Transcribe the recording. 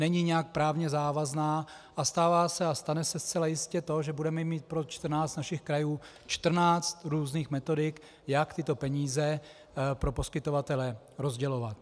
Není nijak právně závazná a stává se a stane se zcela jistě to, že budeme mít pro 14 našich krajů 14 různých metodik, jak tyto peníze pro poskytovatele rozdělovat.